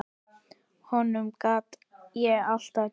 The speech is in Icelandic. Honum gat ég alltaf treyst.